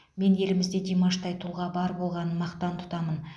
мен елімізде димаштай тұлға бар болғанын мақтан тұтамын